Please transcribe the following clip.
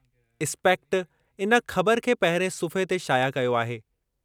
Aspect इन ख़बरु खे पहिरिएं सुफ़्हे ते शाया कयो आहे।